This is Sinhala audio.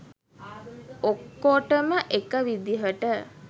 ඔක්කොටම එක විදිහට